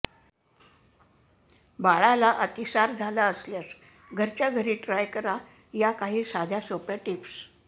बाळाला अतिसार झाला असल्यास घरच्या घरी ट्राय करा या काही साध्या सोप्या टिप्स